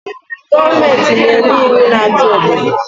Goomenti na-enye iwu na achi obodo